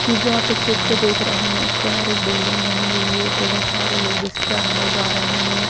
ये जो आप एक चित्र देख रहे हैं इसके अंदर एक बिल्डिंग बनी हुई है बहुत सारे लोग इसके अंदर जा रहे हैं ।